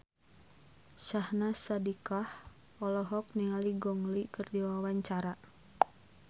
Syahnaz Sadiqah olohok ningali Gong Li keur diwawancara